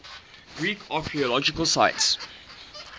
greek archaeological sites